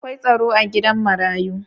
Akwai tsaro a gidan marayu.